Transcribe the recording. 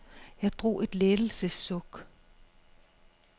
Jeg drog et lettelses suk.